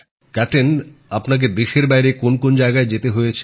captain আপনাকে দেশের বাইরে কোন কোন জায়গায় যেতে হয়েছে